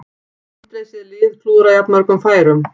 Aldrei séð lið klúðra jafnmörgum færum